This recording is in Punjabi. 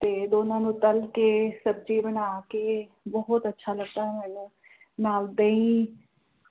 ਤੇ ਦੋਨ੍ਹਾਂ ਨੂੰ ਤਲ ਕੇ ਸਬਜ਼ੀ ਬਣਾ ਕੇ ਬੋਹੋਤ ਅੱਛਾ ਲੱਗਦਾ ਹੈ ਮੈਨੂੰ ਨਾਲ ਦਹੀਂ